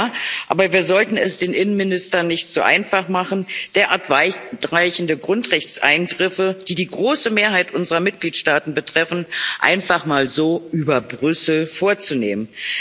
Ja, aber wir sollten es den Innenministern nicht zu einfach machen, derart weitweichende Grundrechtseingriffe, die die große Mehrheit unserer Mitgliedstaaten betreffen, einfach mal so über Brüssel vorzunehmen.